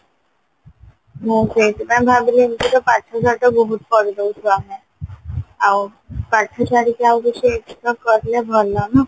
ମୁଁ ସେଇଥିପାଇଁ ଭାବିଲି ଏମିତି ତ ପାଠ ସାଠ ବହୁତ ପଢିଦଉଛୁ ଆମେ ଆଉ ପାଠ ଛାଡିକି ଆଉ କିଛି extra କରିଲେ ଭଲ ନା